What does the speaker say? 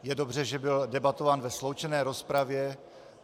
Je dobře, že byl debatován ve sloučené rozpravě.